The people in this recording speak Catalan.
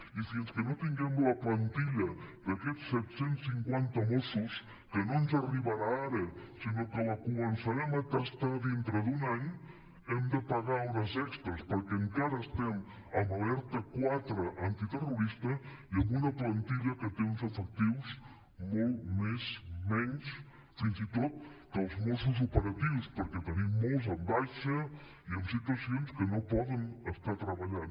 i fins que no tinguem la plantilla d’aquests set cents i cinquanta mossos que no ens arribarà ara sinó que la co·mençarem a tastar dintre d’un any hem de pagar hores extres perquè encara estem en alerta quatre antiterrorista i amb una plantilla que té uns efectius molt més menys fins i tot que els mossos operatius perquè en tenim molts de baixa i en situacions que no poden estar treballant